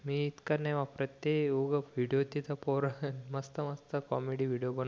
मी इतकं नाही वापरत ते उग विडिओ तिथं पोर मस्त मस्त कॉमेडी विडिओ बनवतात